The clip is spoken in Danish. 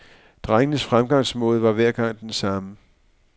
Drengens fremgangsmåde var hver gang den samme.